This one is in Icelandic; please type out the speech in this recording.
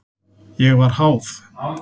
Ég var háð.